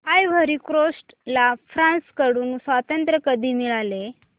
ivory Coast ला France कडून स्वातंत्र्य कधी मिळाले